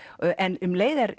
en um leið er